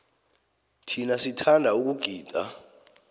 thina sithanda ukugida